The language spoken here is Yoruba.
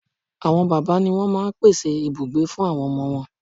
Àwọn bàbá ni wón máa n pèsè ibùgbé fún àwọn ọmọ wọn